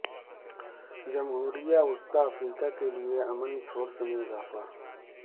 جمہوریہ وسطی افریقہ کے لئے امن فورس میں اضافہ